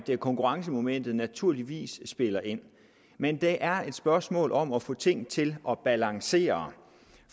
konkurrencemomentet naturligvis spiller ind men det er et spørgsmål om at få ting til at balancere